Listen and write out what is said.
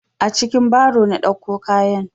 A cikin baro na ɗauko kayan.